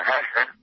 হ্যাঁ স্যার